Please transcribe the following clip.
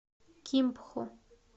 кимпхо